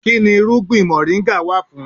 Kínni irúgbìn moringa wà fún?